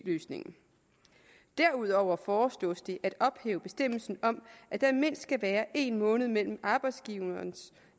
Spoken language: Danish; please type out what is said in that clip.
løsningen derudover foreslås det at ophæve bestemmelsen om at der mindst skal være en måned mellem arbejdsgiverens